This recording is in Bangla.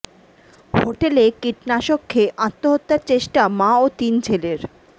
হোটেলে কীটনাশক খেয়ে আত্মহত্যার চেষ্টা মা ও তিন ছেলের